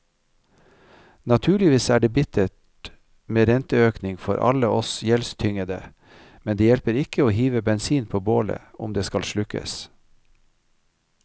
Naturligvis er det bittert med renteøkning for alle oss gjeldstyngede, men det hjelper ikke å hive bensin på bålet om det skal slukkes.